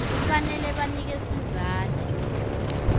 kufanele banike sizatfu